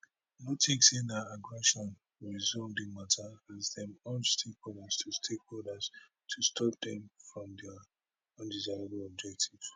no tink say na aggression go resolve di mata as dem urge stakeholders to stakeholders to stop dem from dia undesirable objectives